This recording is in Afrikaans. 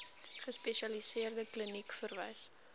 gespesialiseerde kliniek verwys